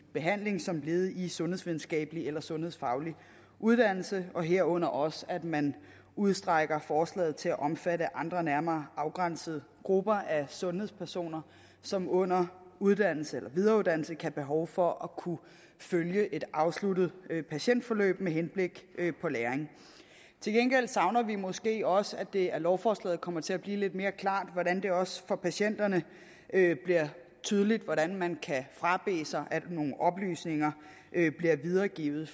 behandling som led i en sundhedsvidenskabelig eller sundhedsfaglig uddannelse og herunder også at man udstrækker forslaget til at omfatte andre nærmere afgrænsede grupper af sundhedspersoner som under uddannelse eller videreuddannelse kan have behov for at kunne følge et afsluttet patientforløb med henblik på læring til gengæld savner vi måske også at det af lovforslaget kommer til at fremgå lidt mere klart hvordan det også for patienterne bliver tydeligt hvordan man kan frabede sig at nogle oplysninger bliver videregivet